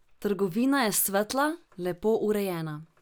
Trgovina je svetla, lepo urejena.